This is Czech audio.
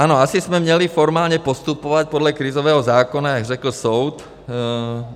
Ano, asi jsme měli formálně postupovat podle krizového zákona, jak řekl soud.